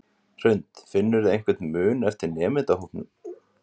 Hrund: Finnurðu einhvern mun eftir nemendahópum?